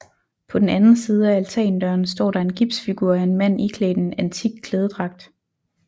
På den anden side af altandøren står der en gipsfigur af en mand iklædt en antik klædedragt